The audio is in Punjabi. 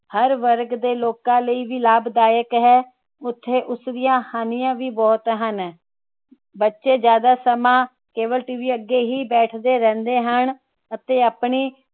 ਹਰ ਵਰਗ ਦੇ ਲੋਕਾਂ ਲਈ ਵੀ ਲਾਭਦਾਇਕ ਹੈ ਉਥੇ ਉਸਦੀਆਂ ਹਾਣੀਆਂ ਵੀ ਬਹੁਤ ਹਨ। ਬੱਚੇ ਜ਼ਿਆਦਾ ਸਮਾਂ CableTV ਦੇ ਅੱਗੇ ਬੈਠਦੇ ਰਹਿੰਦੇ ਹਨ ਅਤੇ ਆਪਣੀ